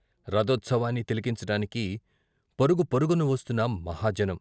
రథోత్సవాన్ని తిలకించటానికి పరుగు పరుగున వస్తున్న మహాజనం.